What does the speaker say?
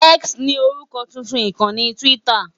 X ni orúkọ tuntun ìkànnì Twitter.